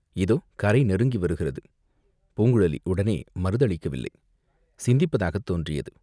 இதோ கரை நெருங்கி வருகிறது." பூங்குழலி உடனே மறுதளிக்கவில்லை, சிந்திப்பதாகத் தோன்றியது.